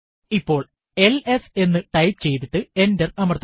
ഇപ്പോൾ എൽഎസ് എന്ന് ടൈപ്പ് ചെയ്തിട്ട് എന്റർ അമർത്തുക